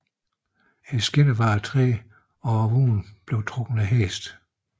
Skinnerne var af træ og vognene blev trukket af heste